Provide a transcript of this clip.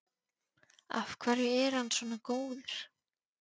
Af hverju er hann svona góður?